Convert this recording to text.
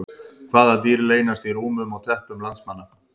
Hvaða dýr leynast í rúmum og teppum landsmanna?